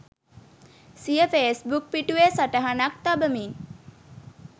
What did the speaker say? සිය ෆේස්බුක් පිටුවේ සටහනක් තබමින්